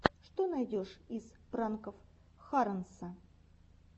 что найдешь из пранков харонса